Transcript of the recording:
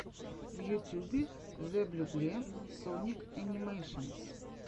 в ютьюбе зэблюбле соник энимэйшенс